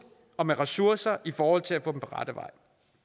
og med ressourcer i forhold til at få dem på rette vej